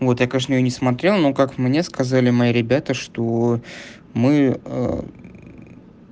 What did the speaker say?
вот я конечно её не смотрел но как мне сказали мои ребята что мы